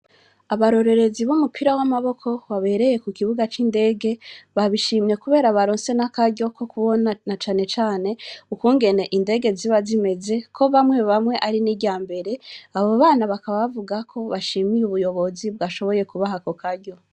Abarorerezi b'umupira wamaboko wabereye ku kibuga cindege babishimiye kubera baronse n'akaryo kokubona na cane cane ukungene indege ziba zimeze ko bamwe bamwe ari n'iryambere, abo bana bakaba bavugako bashima ubuyobozi bwashoboye kubaha ako karyo.